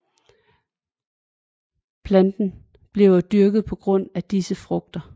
Planten bliver dyrket på grund af disse frugter